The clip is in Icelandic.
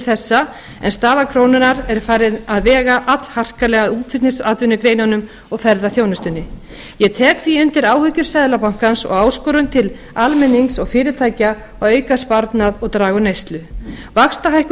þessa en staða krónunnar er farin að vega allharkalega að útflutningsatvinnugreinunum og ferðaþjónustunni ég tek því undir áhyggjur seðlabankans og áskorun til almennings og fyrirtækja að auka sparnað og draga úr neyslu vaxtahækkun